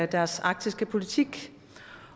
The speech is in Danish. deres arktiske politik